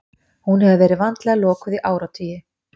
Hún hefur verið vandlega lokuð í áratugi.